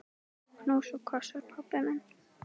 Knús og kossar, pabbi minn.